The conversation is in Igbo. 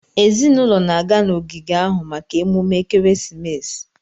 Ezinụlọ na-aga n'ogige ahụ maka emume ekeresimesi.